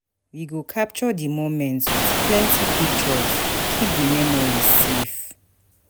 We go capture di moments with with plenty pictures, keep di memories safe.